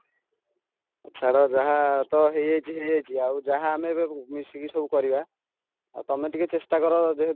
ଛାଡ଼ ଯାହା ତ ହେଇଯାଇଛି ହେଇଯାଈଛି ଆଉ ଯାହା ଆମେ ଏବେ ମିଶିକି ସବୁ କରିବା ଆଉ ତମେ ଟିକେ ଚେଷ୍ଟା କର ତମେ ଯେହେତୁ